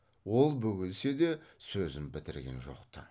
ол бөгелсе де сөзін бітірген жоқ ты